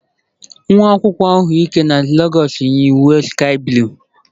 Nwa akwụkwọ ahụike nọ na Legọs yi uwe sky blue.